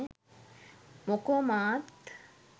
මොකෝ මාත්